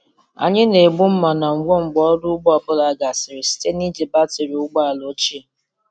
Anyị na-egbu mma na ngwọ mgbe ọrụ ugbo ọ bụla gasịrị site na iji batrị ụgbọ ala ochie.